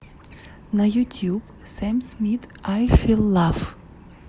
на ютуб сэм смит ай фил лав